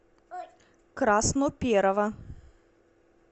красноперова